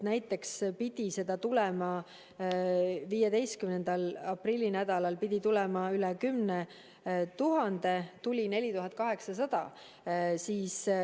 Näiteks pidi seda tulema pärast 15. aprilli nädala jooksul üle 10 000 doosi, tuli 4800.